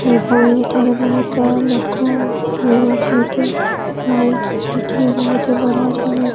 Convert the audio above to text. ଏବଂ ଏଠାରେ ବହୁତ ଲୋକ ମାନେ ଅଛନ୍ତି ଲାଇଟ୍ ଫିଟିଗ୍ ବୋହୁତ୍ ବଢ଼ିଆ ସେ ହେଇଚି ।